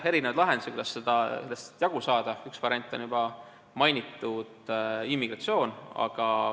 On erinevaid lahendusi, kuidas sellest jagu saada, üks variant on juba mainitud immigratsioon.